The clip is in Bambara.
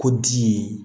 Ko di